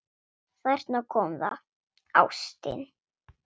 Þarna kom það: Ástin.